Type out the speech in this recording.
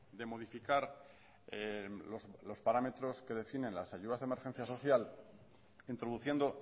de modificar los parámetros que definen las ayudas de emergencia social introduciendo